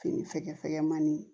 Fini fɛgɛfɛgɛmani